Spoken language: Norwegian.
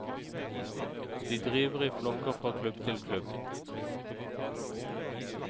De driver i flokker fra klubb til klubb.